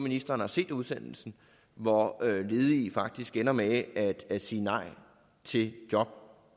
ministeren har set udsendelsen hvor ledige faktisk ender med at at sige nej til job